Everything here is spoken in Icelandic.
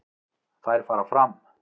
Þær fara fram